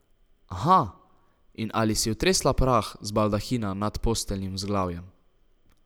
Aha, in ali si otresla prah z baldahina nad posteljnim vzglavjem?